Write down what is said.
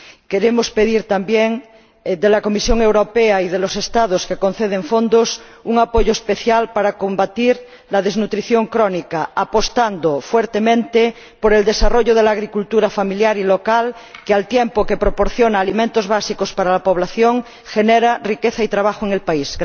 Queremos pedir también a la Comisión Europea y a los Estados que conceden fondos un apoyo especial para combatir la desnutrición crónica, apostando fuertemente por el desarrollo de la agricultura familiar y local, que, al tiempo que proporciona alimentos básicos para la población, genera riqueza y trabajo en el país.